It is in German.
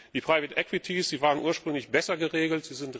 Die private equities waren ursprünglich besser geregelt.